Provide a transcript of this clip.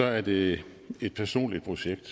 er det et personligt projekt